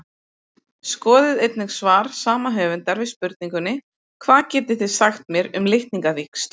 Skoðið einnig svar sama höfundar við spurningunni Hvað getið þið sagt mér um litningavíxl?